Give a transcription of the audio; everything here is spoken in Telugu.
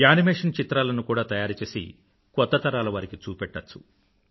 యేనిమేషన్ చిత్రాలను కూడా తయారుచేసి కొత్త తరాలవారికి చూపెట్టవచ్చు